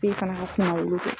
K'e fana ka kuma wolo kɛ.